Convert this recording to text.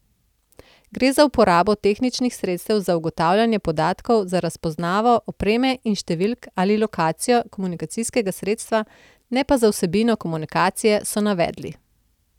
Gre za uporabo tehničnih sredstev za ugotavljanje podatkov za razpoznavo opreme in številk ali lokacijo komunikacijskega sredstva, ne pa za vsebino komunikacije, so navedli.